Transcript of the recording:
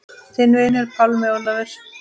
Þinn vinur, Pálmi Ólafur.